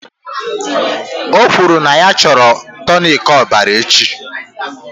O kwuru na ya chọrọ tonic ọbara echi